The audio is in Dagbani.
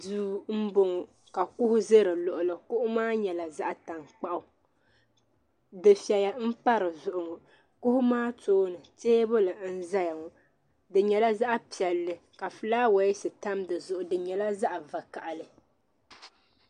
Duu n bɔŋo ka kuɣu za di luɣuli kuɣu maa nyɛla zaɣa tankpaɣu difiɛli n pa di zuɣu ŋɔ kuɣu maa tooni teebuli n zaya ŋɔ di nyɛla zaɣa piɛlli ka filaawaas tam di zuɣu di nyɛla zaɣa vakahili.